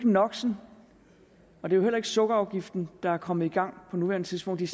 noxen og heller ikke sukkerafgiften der er kommet i gang på nuværende tidspunkt de